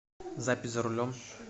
запись за рулем